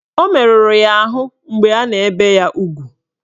O meruru ya ahụ mgbe a na-ebe ya ugwu